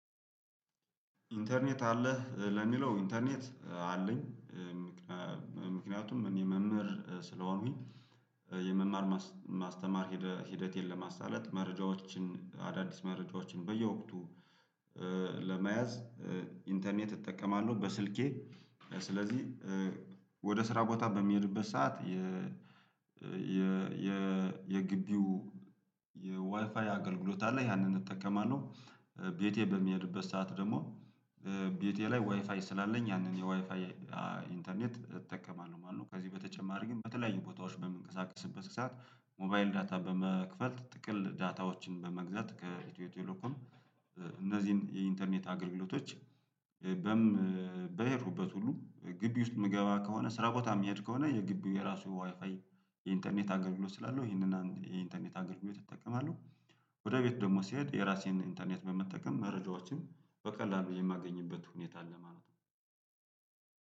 ኢንተርኔት አለህ ለሚለው ኢንተርኔት አለኝ? ምክንያቱም እኔ መምህር ስለሆንሁኝ የመማር ማስተማር ሂደት ለማሳለጥ መረጃዎችን አዳዲስ መረጃዎችን በየወቅቱ ለመያዝ ኢንተርኔት እጠቀማለሁ በስልኬ። ስለዚህ ወደ ስራ ቦታ በሚሄድበት ሰዓት የ የ የ የግቢው የዋይፋይ አገልግሎት አለ ያንን እጠቀማለሁ። ቤቴ በሚሄድበት ሰዓት ደግሞ ቤቴ ላይ ዋይፋይ ስላለኝ ያንን የዋይፋይ ኢንተርኔት እጠቀማለሁ ማለት ነው። ከዚህ በተጨማሪ ግን በተለያዩ ቦታዎች በምንቀሳቀስበት ሰዓት ሞባይል ዳታ በመክፈት ጥቅል ዳታዎችን በመግዛት ከኢትዮ ቴሌኮም እነዚህን የኢንተርኔት አገልግሎቶች። በሄድሁበት ሁሉ ግቢ ውስጥ የምገባ ከሆነ ስራ ቦታ የሚሄድ ከሆነ የግቢው የራሱ ዋይፋይ የኢንተርኔት አገልግሎት ስላለው ይሄንን የኢንተርኔት አገልግሎት እጠቀማለሁ። ወደ ቤት ደግሞ ሲሄድ የራሴን ኢንተርኔት በመጠቀም መረጃዎችን በቀላሉ የማገኝበት ሁኔታ አለ ማለት ነው።